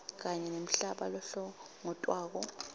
kanye nemhlaba lohlongotwako